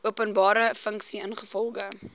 openbare funksie ingevolge